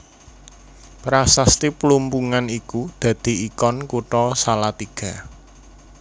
Prasasti Plumpungan iku dadi ikon Kutha Salatiga